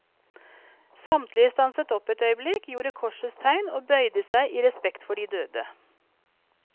Samtlige stanset opp et øyeblikk, gjorde korsets tegn og bøyde seg i respekt for de døde.